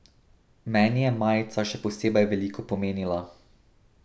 Meni je majica še posebej veliko pomenila.